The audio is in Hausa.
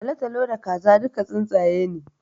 Talatalo da Kaza duka tsuntsaye ne